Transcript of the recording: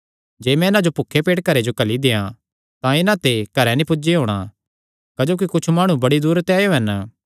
जे मैं इन्हां जो भुखे पेट घरे जो घल्ली देयां तां इन्हां ते घरे नीं पुज्जी होणा क्जोकि कुच्छ माणु बड़ी दूरे ते आएयो हन